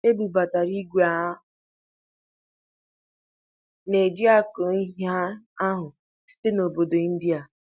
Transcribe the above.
E bubatara ìgwè a na-eji akọ ihe ahụ site na obodo India.